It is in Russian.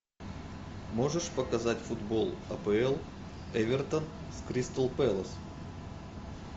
можешь показать футбол апл эвертон с кристал пэлас